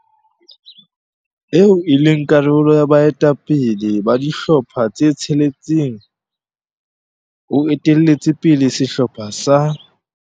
Eo e leng karolo ya baetapele ba dihlopha tse tsheletseng o etelletse pele sehlopha sa.